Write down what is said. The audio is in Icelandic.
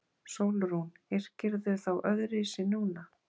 SÓLRÚN: Yrkirðu þá öðruvísi núna?